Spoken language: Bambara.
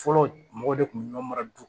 Fɔlɔ mɔgɔ de kun bɛ ɲɔgɔn mara du